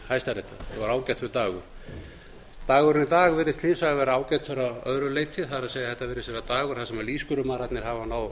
hæstaréttar þetta var ágætur dagur dagur í dag virðist hins vegar vera ágætur að öðru leyti það er þetta virðist vera dagur þar sem lýðskrumararnir hafa náð